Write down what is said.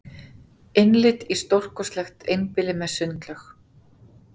Innlit í stórkostlegt einbýli með sundlaug